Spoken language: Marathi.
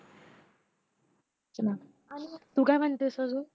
हो ना तू काय म्हणते अजून